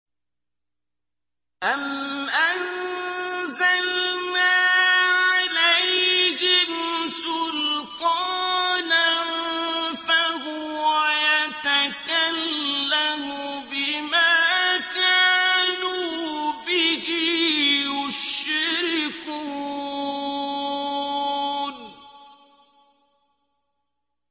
أَمْ أَنزَلْنَا عَلَيْهِمْ سُلْطَانًا فَهُوَ يَتَكَلَّمُ بِمَا كَانُوا بِهِ يُشْرِكُونَ